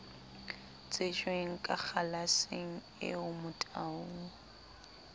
tsejweng ka kgalaseng eo motaung